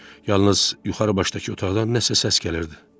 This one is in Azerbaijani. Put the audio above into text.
Yalnız yuxarı başdakı otaqdan nəsə səs gəlirdi.